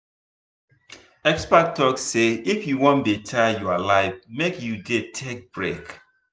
experts talk say if you wan better your life make you dey take break.